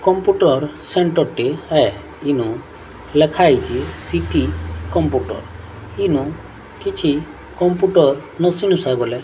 computer centre ଟି ହେ ଇନେ ଲେଖା ହେଇଛି ସି_ଟି କମ୍ପୁଟର ଇନୁ କିଛି କମ୍ପୁଟର